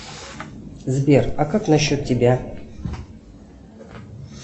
сбер а как насчет тебя